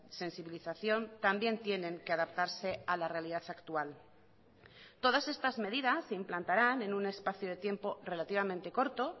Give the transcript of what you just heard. sensibilización también tienen que adaptarse a la realidad actual todas estas medidas se implantarán en un espacio de tiempo relativamente corto